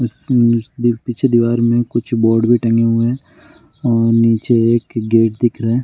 इसमें पीछे दीवार में कुछ बोर्ड भी टंगे हुए और नीचे एक गेट दिख रहा है ।